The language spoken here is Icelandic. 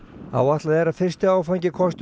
áætlað er að fyrsti áfangi kosti